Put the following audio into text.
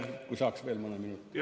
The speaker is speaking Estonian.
Kui saaks veel mõne minuti?